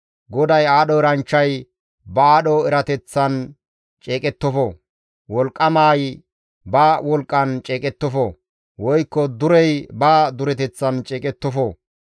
GODAY, «Aadho eranchchay ba aadho erateththan ceeqettofo; wolqqamay ba wolqqan ceeqettofo; woykko durey ba dureteththan ceeqettofo.